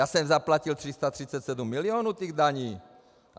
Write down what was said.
Já jsem zaplatil 337 milionů těch daní.